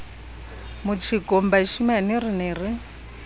motjekong bashemane re ne re